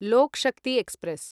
Loku Shakti express